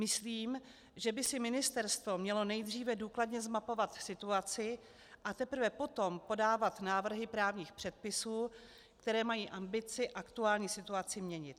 Myslím, že by si ministerstvo mělo nejdříve důkladně zmapovat situaci, a teprve potom podávat návrhy právních předpisů, které mají ambici aktuální situaci měnit.